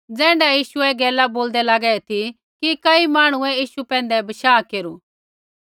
ज़ैण्ढै यीशु ऐ गैला बोलदै लागै ती कि कई मांहणुऐ यीशु पैंधै बशाह केरू